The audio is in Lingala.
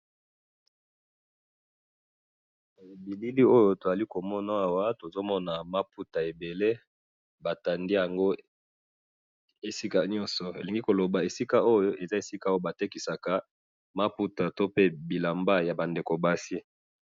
na bilili oyo tozali komona awa, tozomona maputa ebele, batandi yango esika nyoso, nalingi koloba esika oyo eza esika ooh batekisaka maputa, to pe bilamba ya ba ndeko basi